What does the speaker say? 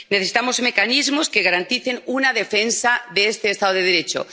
Necesitamos mecanismos que garanticen una defensa del Estado de Derecho.